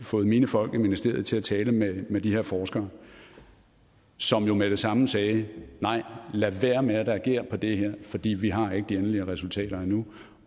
fået mine folk i ministeriet til at tale med med de her forskere som jo med det samme sagde nej lad være med at reagere på det fordi vi har endnu ikke de endelige resultater